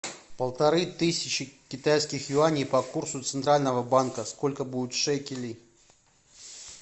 полторы тысячи китайских юаней по курсу центрального банка сколько будет шекелей